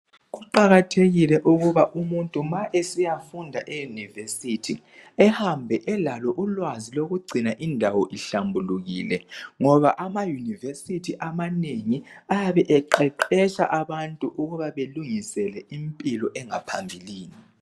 Kuqakathekile ukuba umuntu ma esiyafunda eyunivesithi ehambe elalo ulwazi lokugcina indawo ihlambulukile ngoba amayunivesithi abanengi ayabe eqeqetsha abantu ukuba belungise impilo engaphambilini.